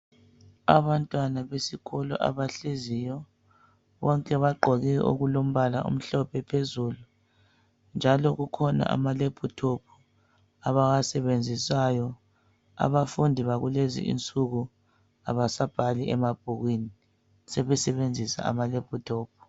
Abantwana besikolo abahleziyo bonke bagqoke okulombala omhlophe phezulu njalo kukhona amalephuthophu abawasebenzisayo abafundi bakulezi insuku abasabhali emabhukwini sebesebenzisa ama lephuthophu.